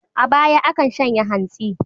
A baya, akan shanya hantsi.